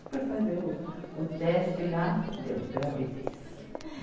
Fui fazer o, o teste lá, deu gravidez.